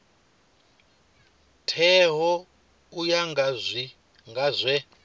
teaho u ya nga zwe